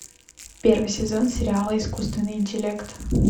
первый сезон сериала искусственный интеллект